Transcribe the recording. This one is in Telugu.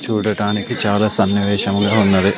చూడటానికి చాలా సన్నివేశంగా ఉన్నది.